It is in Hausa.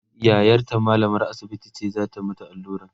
yayarta mallamar asibiti ce zata mata alluran